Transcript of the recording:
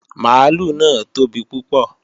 Mààlúù náà tóbi púpọ̀